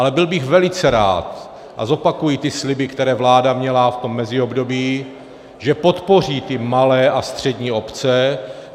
Ale byl bych velice rád, a zopakuji ty sliby, které vláda měla v tom meziobdobí, že podpoří ty malé a střední obce.